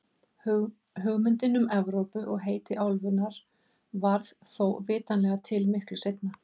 Hugmyndin um Evrópu og heiti álfunnar varð þó vitanlega til miklu seinna.